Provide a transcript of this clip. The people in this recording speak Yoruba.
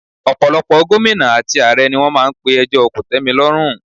Ọ̀pọ̀lọpọ̀ Gómìnà àti ààrẹ ni wọ́n máa n pe ẹjọ́ kòtẹ́milọ́rùn